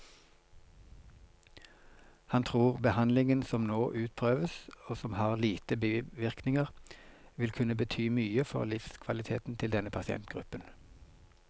Han tror behandlingen som nå utprøves, og som har lite bivirkninger, vil kunne bety mye for livskvaliteten til denne pasientgruppen.